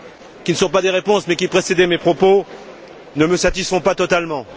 qui ne sont pas des réponses, car elles précédaient mes propos ne me satisfont pas totalement.